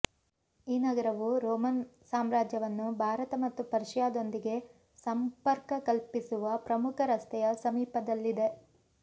ಈ ನಗರವು ರೋಮನ್ ಸಾಮ್ರಾಜ್ಯವನ್ನು ಭಾರತ ಮತ್ತು ಪರ್ಷಿಯಾದೊಂದಿಗೆ ಸಂಪರ್ಕ ಕಲ್ಪಿಸುವ ಪ್ರಮುಖ ರಸ್ತೆಯ ಸಮೀಪದಲ್ಲಿದೆ